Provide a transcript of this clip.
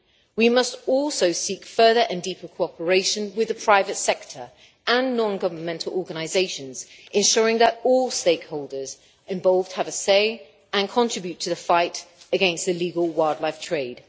We must also seek further and deeper cooperation with the private sector and non governmental organisations, ensuring that all stakeholders involved have a say and contribute to the fight against illegal wildlife trade.